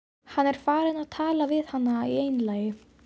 Hann er farinn að tala við hana í einlægni!